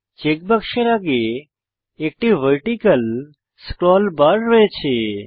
check বাক্সের আগে একটি ভার্টিকাল স্ক্রল বার রয়েছে